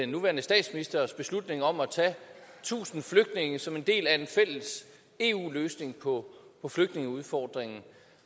nuværende statsministers beslutning om at tage tusind flygtninge som en del af en fælles eu løsning på flygtningeudfordringen